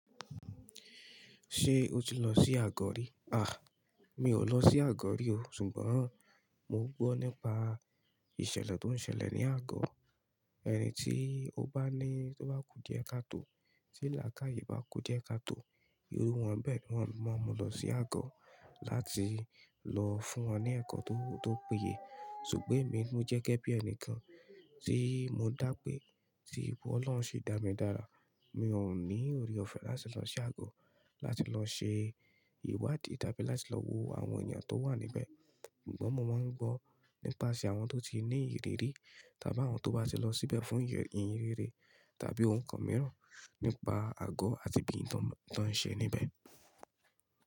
Ṣé o ti lọ sí àgọ́ rí? À, mi ò lọ sí àgọ́ rí o, ṣùgbọ́n mò ń gbọ́ nípa ìṣẹ̀lẹ̀ tó ń ṣẹlẹ̀ ní àgọ́. Ẹni tí ó bá ní, tó bá kú díẹ̀ káà tó, tí làákàyè bá kú díẹ̀ káà tó, irú wọn bẹ́ẹ̀ ni wọ́n máa ń mú lọ sí àgọ́ láti lọ fún wọn ní ẹ̀kọ́ tó péye. Ṣùgbọ́n èmi mo jẹ́ gẹ́gẹ́ bí ẹni kan tí mo dá pé, tí Ọlọ́un si dá mi dára, mi ò ní ọrẹ ọ̀fẹ́ láti lọ sí àgọ́ láti lọ ṣe ìwádìí tàbí láti lọ wo àwọn ènìyàn tó wà níbẹ̀. Sùgbọ́n mo máa ń gbọ́ nípaṣẹ àwọn tó ti ní ìrírí tàbí àwọn tó bá ti lọ síbẹ̀ fún ìhìnrere tàbí ohun kan mìíràn nípa àgọ́ àti bí i tán ń ṣe níbẹ̀.